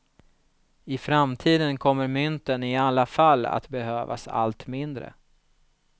I framtiden kommer mynten i alla fall att behövas allt mindre.